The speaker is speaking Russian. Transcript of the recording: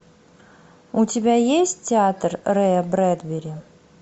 у тебя есть театр рэя брэдбери